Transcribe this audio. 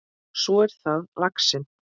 Svo er það laxinn.